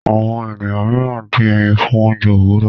Àwọn ènìyàn mìíràn dín ẹyìn fún oúnjẹ Òwúrọ.